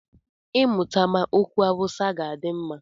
I mụtama okwu Awụsa ga-adị mma.